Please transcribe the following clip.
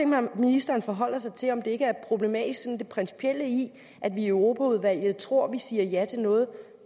mig at ministeren forholder sig til om det ikke er problematisk sådan rent principielt at vi i europaudvalget tror vi siger ja til noget